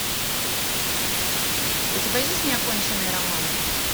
у тебя есть неоконченный роман